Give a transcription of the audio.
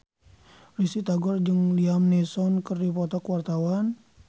Risty Tagor jeung Liam Neeson keur dipoto ku wartawan